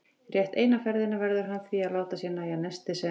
Rétt eina ferðina verður hann því að láta sér nægja nestið sem